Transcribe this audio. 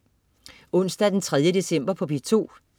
Onsdag den 3. december - P2: